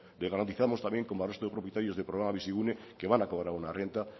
y garantizamos también como al resto de propietarios del programa bizigune que van a cobrar una renta